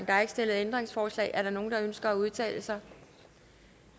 er ikke stillet ændringsforslag er der nogen der ønsker at udtale sig